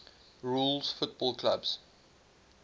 rules football clubs